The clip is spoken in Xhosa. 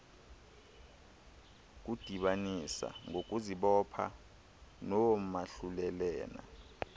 kudibanisa ngokuzibopha noomahlulelane